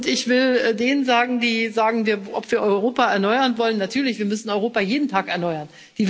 Ich will denen sagen, die fragen, ob wir Europa erneuern wollen Natürlich, wir müssen Europa jeden Tag erneuern.